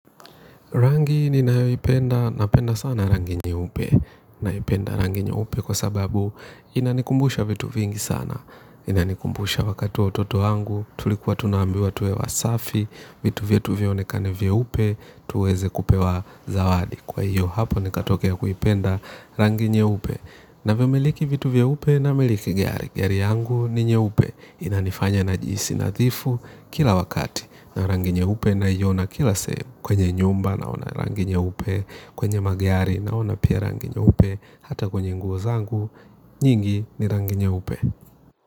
Rangi ninayoipenda, napenda sana rangi nyeupe, naipenda rangi nyeupe kwa sababu inanikumbusha vitu vingi sana, inanikumbusha wakati wa utoto wangu, tulikuwa tunaambiwa tuwe wasafi, vitu vyetu vionekane vyeupe, tuweze kupewa zawadi. Kwa hiyo hapo nikatokea kuipenda rangi nyeupe. Navimiliki vitu vyeupe, namiliki gari. Gari yangu ni nyeupe. Inanifanya najihisi nadhifu kila wakati. Na rangi nyeupe naiona kila sehemu. Kwenye nyumba naona rangi nyeupe, kwenye magari naona pia rangi nyeupe, hata kwenye nguo zangu. Nyingi ni rangi nyeupe.